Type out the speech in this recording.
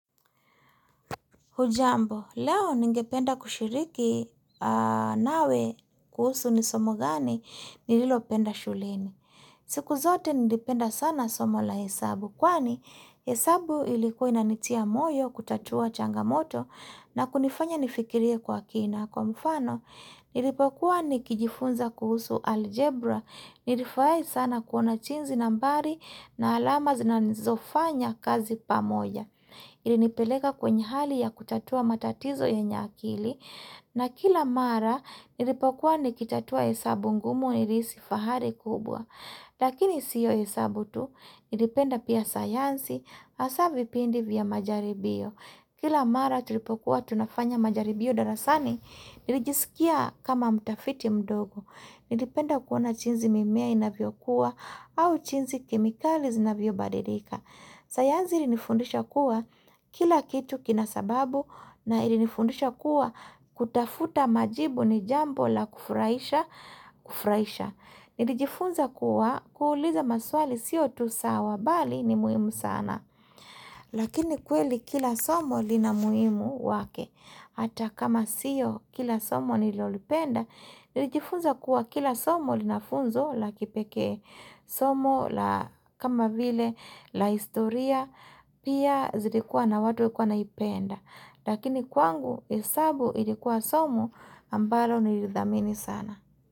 Hujambo, leo ningependa kushiriki nawe kuhusu nisomo gani, nililopenda shuleni. Siku zote nilipenda sana somo la hesabu, kwani hesabu ilikuwa inanitia moyo, kutatua changamoto, na kunifanya nifikirie kwa kina. Kwa mfano, nilipokuwa nikijifunza kuhusu algebra, nilifurahi sana kuona jinzi nambari na alama zinazofanya kazi pamoja. Ilinipeleka kwenye hali ya kutatua matatizo yenye akili na kila mara nilipokuwa nikitatua hesabu ngumu nilihisi fahari kubwa. Lakini siyo hesabu tu, nilipenda pia sayansi asavipindi vya majaribio. Kila mara tulipokuwa tunafanya majaribio darasani, nilijisikia kama mtafiti mdogo. Nilipenda kuona jiinzi mimea inavyo kua au jinzi kemikali zinavyo badirika. Sayanzi ili nifundisha kuwa kila kitu kina sababu na ili nifundisha kuwa kutafuta majibu ni jambo la kufurahisha kufurahisha Nilijifunza kuwa kuuliza maswali siyo tu sawa bali ni muhimu sana Lakini kweli kila somo lina muhimu wake Hata kama siyo kila somo nilolipenda Nilijifunza kuwa kila somo linafunzo la kipekee Somo la kama vile la historia pia zilikuwa na watu walikuwa wanaipenda Lakini kwangu hesabu ilikuwa somo ambalo nilithamini sana.